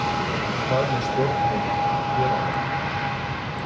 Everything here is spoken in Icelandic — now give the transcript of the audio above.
En hvað með stjórnvöld hér á landi?